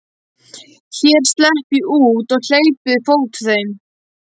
Hér slepp ég út og hleyp við fót heim.